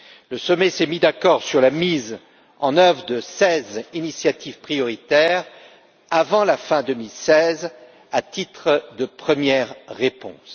Le sommet s'est mis d'accord sur la mise en œuvre de seize initiatives prioritaires avant la fin 2016, à titre de première réponse.